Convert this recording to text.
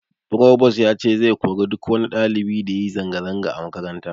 Frobos ya ce zai kori duk wani ɗalibi da yayi zanga zanga a makaranta